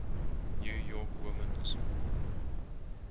new york women's